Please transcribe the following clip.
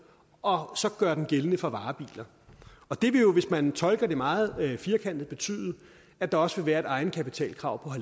og gøre den gældende for varebiler det vil jo hvis man tolker det meget firkantet betyde at der også vil være et egenkapitalkrav på